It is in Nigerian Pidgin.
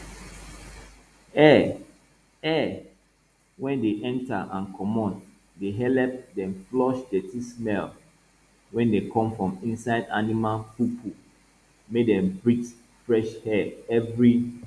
air air wey dey enter and comot dey helep dem flush dirty smell wey dey come from inside animal poopoo make dem breathe fresh air every